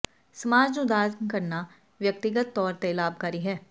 ਸਮਾਜ ਨੂੰ ਦਾਨ ਕਰਨਾ ਵਿਅਕਤੀਗਤ ਤੌਰ ਤੇ ਲਾਭਕਾਰੀ ਹੈ